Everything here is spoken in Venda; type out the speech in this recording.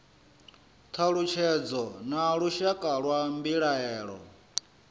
thalutshedzo na lushaka lwa mbilaelo